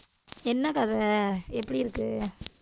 என்ன கதை? எப்படி இருக்கு?